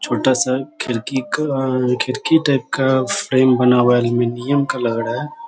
छोटा सा खिड़की का खिड़की टाइप का फ्रेम बना हुआ है अलुमिनियम का लग रहा है|